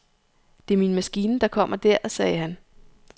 Det er min maskine, der kommer der, sagde han.